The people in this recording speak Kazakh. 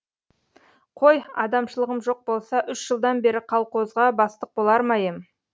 қой адамшылығым жоқ болса үш жылдан бері қалқозға бастық болар ма ем